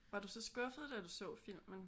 Var du så skuffet da du så filmen? Eller filmene?